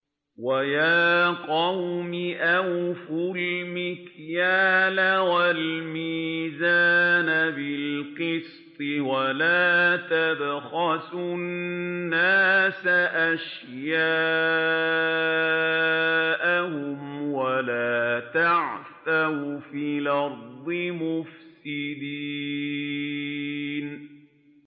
وَيَا قَوْمِ أَوْفُوا الْمِكْيَالَ وَالْمِيزَانَ بِالْقِسْطِ ۖ وَلَا تَبْخَسُوا النَّاسَ أَشْيَاءَهُمْ وَلَا تَعْثَوْا فِي الْأَرْضِ مُفْسِدِينَ